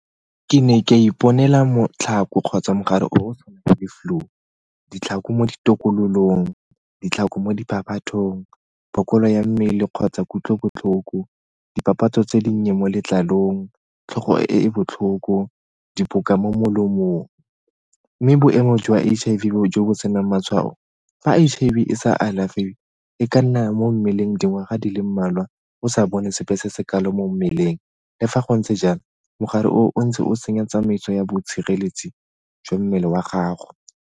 Ke ne ka iponela kgotsa mogare o go tshwana le flu. Ditlhako mo ditokololong, ditlhako mo , phokolo ya mmele kgotsa kutlobotlhoko, dipapatso tse di nnye mo letlalong, tlhogo e botlhoko, mo molemong. Mme boemo jwa H_I_V jo bo senang matshwao, fa H_I_V e sa alafiwe e ka nna mo mmeleng dingwaga di le mmalwa o sa bone sepe se se kalo mo mmeleng. Le fa go ntse jalo, mogare o ntse o tsenya tsamaiso ya bo tshireletso jwa mmele wa gago.